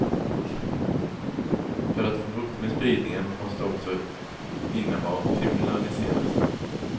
För att få bukt med spridningen måste också innehav kriminaliseras.